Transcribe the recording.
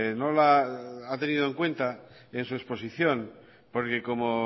no la ha tenido en cuenta en su exposición porque como